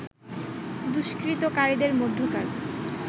দুষ্কৃতকারীদের মধ্যকার